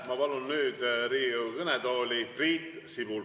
Ma palun nüüd Riigikogu kõnetooli Priit Sibula.